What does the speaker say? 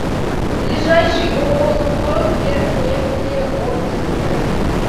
ближайший ооо лукойл пермнефтеоргсинтез